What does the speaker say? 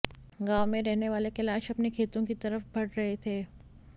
गांव में रहने वाले कैलाश अपने खेतों की तरफ बढ़ रहे थे